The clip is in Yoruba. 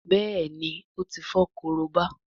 Béèni o tí fo Korobá.